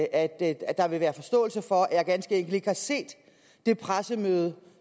at at der vil være forståelse for at jeg ganske enkelt ikke har set det pressemøde